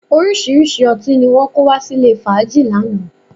Orísìíríṣìí ọtí ni wọn kó wá sílè fàájì lánàá